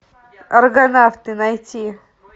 аргонавты найти